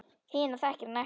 Hina þekkir hann ekki.